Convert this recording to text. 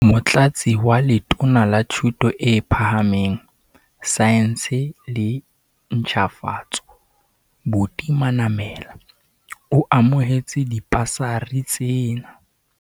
Motlatsi wa Letona la Thuto e Phahameng, Saense le Ntjhafatso, Buti Manamela, o amohetse dibasari tsena.